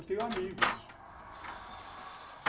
Eu tenho amigos.